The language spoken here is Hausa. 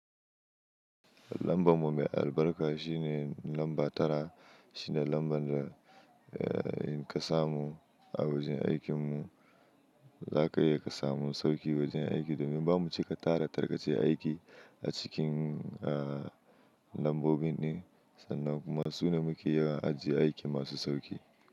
Lambar mu mai albarka shine lamba tara. Shine lambar da eh kasa mu a wajen aikin mu. Za ka iya kasa mu sauki wajen aiki domin ba mu cika tara tarkace aiki a cikin eh lambobin ɗin sannan kuma su ne muke yi a aji aikin masu sauki.